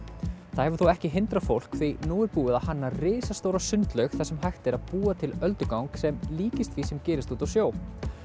það hefur þó ekki hindrað fólk því nú er búið að hanna risastóra sundlaug þar sem er hægt að búa til öldugang sem líkist því sem gerist úti á sjó